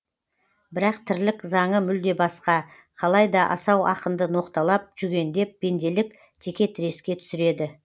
бірақ тірлік заңы мүлде басқа қалай да асау ақынды ноқталап жүгендеп пенделік текетіреске түсіреді